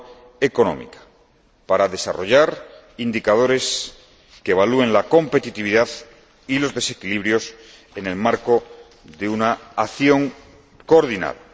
macroeconómica para desarrollar indicadores que evalúen la competitividad y los desequilibrios en el marco de una acción coordinada.